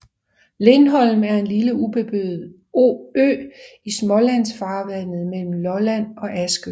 Lindholm er en lille ubeboet ø i Smålandsfarvandet mellem Lolland og Askø